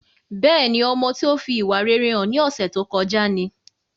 Bẹ́ẹ̀ni ọmọ tí ó fi ìwà rere hàn ní ọsẹ tó kọjá ni